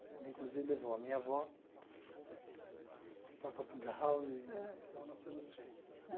Ele, inclusive, levou a minha avó para Portugal e então nasceram os filhos.